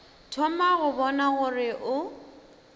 thoma go bona gore o